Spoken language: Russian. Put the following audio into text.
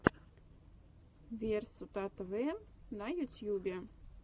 версутатэвэ на ютьюбе